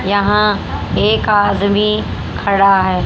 यहां एक आदमी खड़ा है।